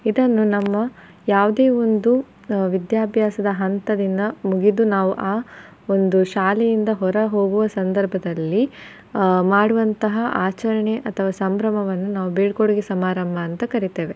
ಇದನ್ನು ನಮ್ಮ ಯಾವ್ದೆ ಒಂದು ಆಹ್ ವಿದ್ಯಾಭ್ಯಾಸದ ಹಂತದಿಂದ ಮುಗಿದು ನಾವು ಆ ಒಂದು ಶಾಲೆಯಿಂದ ಹೊರಹೋಗುವ ಸಂದರ್ಭದಲ್ಲಿ ಆಹ್ ಮಾಡುವಂತಹ ಆಚರಣೆ ಅಥವಾ ಸಂಭ್ರಮವನ್ನು ನಾವು ಬೀಳ್ಕೊಡುಗೆ ಸಮಾರಂಭ ಅಂತ ಕರಿತೆವೆ.